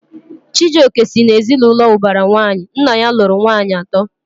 Chijioke si na ezinaụlọ ubara nwanyi, nna ya lụrụ nwanyị ato